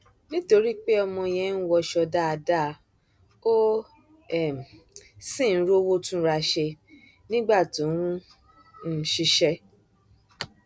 nítorí pé ọmọ yẹn ń wọṣọ dáadáa ó um sì ń rówó túnra ṣe nígbà tó ń um ṣiṣẹ